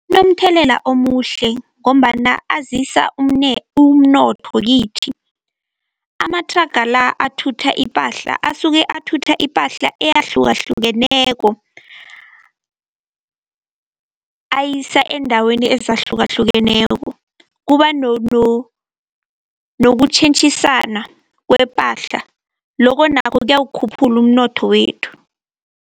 Kunomthelela omuhle ngombana azisa umnotho kithi. Amathraga la athutha ipahla, asuke athutha ipahla eyahlukahlukeneko, ayisa eendaweni ezahlukahlukeneko. Kuba nokutjhentjhisana kwepahla, lokho nakho kuyawukhuphula umnotho wethu.